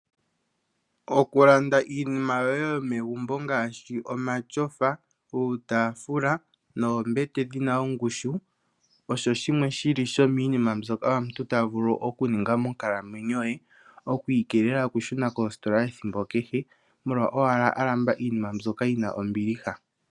Okulanda iinima yoye yomegumbo ngaashi omatyofa uutaafula noombete dhina ongushu osho shimwe shili shomiinima mbyoka omuntu tavulu okuninga monkalamwenyo ye, oku ikeelela okushuna koositola ethimbo kehe molwa owala alamba iinima mbyoka yina ombiliha